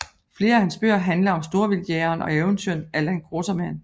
Flere af hans bøger handler om storvildtjægeren og eventyreren Allan Quatermain